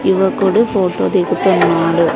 యువకుడు ఫోటో దిగుతున్నాడు.